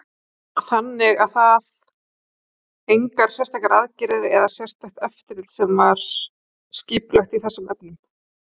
Þannig að það engar sérstakar aðgerðir eða sérstakt eftirlit sem var skipulagt í þessum efnum?